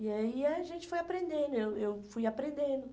E aí a gente foi aprendendo, eu eu fui aprendendo.